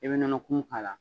E bɛ nɔnɔkumu k'a la